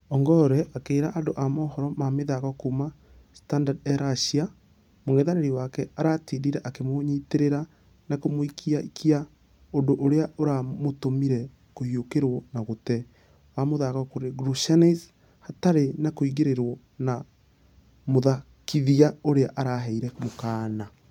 Ongare akĩra andũ a mohoro ma mĩthako kuuma standa e russia mũngethanĩri wake aratindire akĩmũnyiterera na kũmũikia ikia ŭndũ ũria ũramũtũmire kũhiũkĩrwo na gũtee...wa mũthako kũrĩ gorishnsys hatarĩ na kũingĩrĩrwo na mũthakithia ũrĩa ......araheire mũkana